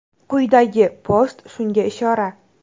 Quyidagi post shunga ishora.